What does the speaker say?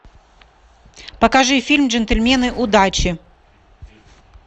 покажи фильм джентльмены удачи